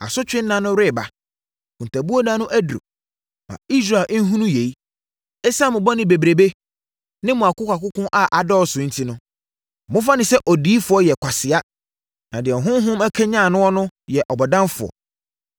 Asotwe nna no reba, akontabuo nna no aduru; ma Israel nhunu yei. Esiane mo bɔne bebrebe ne mo akokoakoko a adɔɔso enti mofa no sɛ odiyifoɔ yɛ kwasea na deɛ honhom akanyane noɔ no yɛ ɔbɔdamfoɔ.